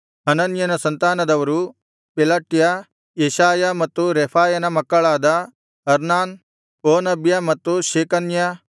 ಹನನ್ಯನ ಸಂತಾನದವರು Pelatiah Jeshaiah ಮತ್ತು ರೆಫಾಯನ ಮಕ್ಕಳಾದ ಅರ್ನಾನ್ ಓಬದ್ಯ ಮತ್ತು ಶೇಕನ್ಯ